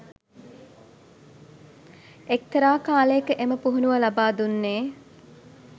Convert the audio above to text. එක්තරා කාලයක එම පුහුණුව ලබා දුන්නේ